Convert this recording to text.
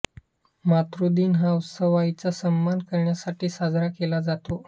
मातृदिन हा उत्सव आईचा सन्मान करण्यासाठी साजरा केला जातो